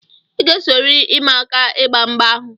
I ga-esorịrị ịma aka ịgba mgba ahụ!